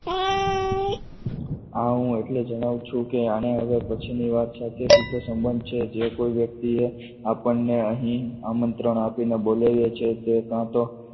હા હું એટલે જણાવું છું કે અને પછીની વાત સાચી છે કે સંબંધ છે જે કોઈપણ વ્યક્તિએ આપણને અહીં આમંત્રણ આપીને બોલાવ્યા છે તે કાં તો